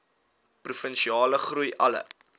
provinsiale groei alle